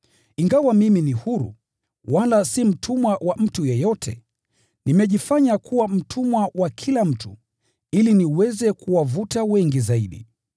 Ingawa mimi ni huru, wala si mtumwa wa mtu yeyote, nimejifanya kuwa mtumwa wa kila mtu, ili niweze kuwavuta wengi kadri iwezekanavyo.